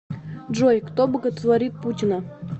джой кто боготворит путина